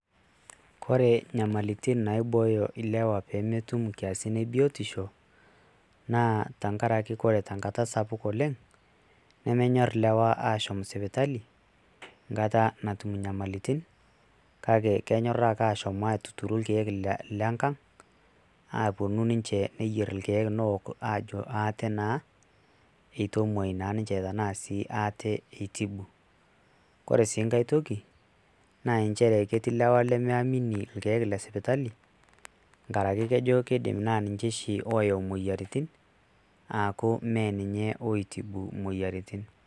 Ore inyamalitin naibooyo ilewa peemetum inkiasin e biotisho naa tenkaraki ore tenkata sapuk oleng' nemenyorr ilewaaashom sipitali enkata natum inyamalitin kake kenyorr ake aashom aatuturu irkeek lenkang' aaponu ninche neyierr irkeek aaok abak ate naa ate itibu. Ore sii enkae toki naa nchere ketii ilewa lemiamini irkeek le sipitali tenkaraki nesji tenaa ninche oshi oyau imoyiaritin aaku mee niinche oitibu imoyiaritin.